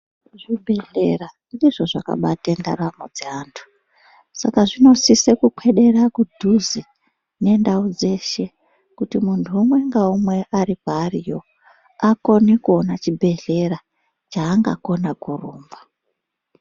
Zvibhedhleya ndizvo zvakabate ndaramo dzeantu, saka zvinosise kuswedere kudhize nendau dzeshe kuti muntu umwe ngaumwe ari kwaariyo akone kuone chibhedhleya chaangakona kurumba.